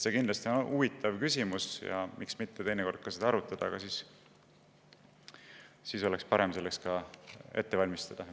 See on kindlasti huvitav küsimus ja miks mitte teinekord ka seda arutada, aga siis oleks parem end selleks ette valmistada.